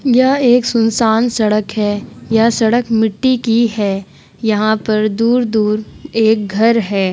यह एक सुनसान सड़क है। यह सड़क मिट्टी की है। यहाँ पर दूर-दूर एक घर है।